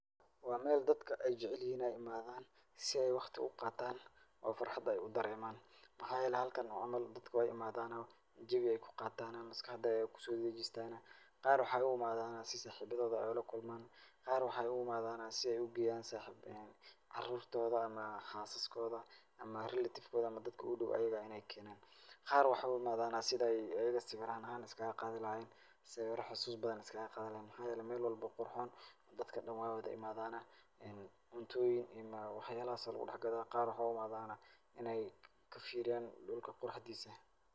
Waa meel dadka ay jeclihiin in ay i maadaan si ay wakhti u qaataan oo farxad ay u dareemaan. Maxaa yeelay halkan waa meel dadka way imaadaan oo jawi ay ku qaataan maskaxda ku soo wada dejistaan. Qaar waxay u i maadaan si saaxibadooda u la kulmaan. Qaar qaxay u i maadaan si ay u geeyaan saxiib, caruurtooda ama xaasaskooda ama relative kooda ama dadka ugu dow ayiga in ay keenaan. Qaar waxaa u i maadaan sida ayiga sawiraan ahaan ayiga iskaga qaadi lahaayeen. Sawira xasuus badan is kaga qaadi lahaayeen. Maxaa yeelay meel walbo qurxuun dadka dhan waay wada i maadaan cuntooyin iyo wax yaalahas lugu dexgado. Qaar waxay u imaadaan in ay kafiiriyaan dhulka quraxdiisa.